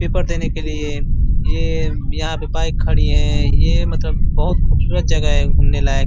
Paper देने के लिए ये यहाँ पे बाइक खड़ी है। ये मतलब बहुत खुबसूरत जगह है घूमने लायक।